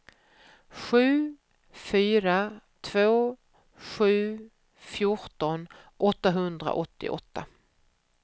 sju fyra två sju fjorton åttahundraåttioåtta